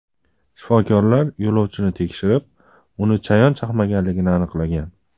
Shifokorlar yo‘lovchini tekshirib, uni chayon chaqmaganligini aniqlagan.